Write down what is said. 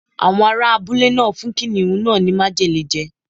Àwọn ará abúlé náà fún kìnnìún náà ní májèlé je.